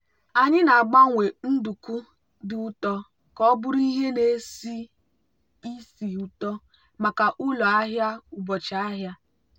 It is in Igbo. anyị na-agbanwe nduku dị ụtọ ka ọ bụrụ ihe na-esi ísì ụtọ maka ụlọ ahịa ụbọchị ahịa.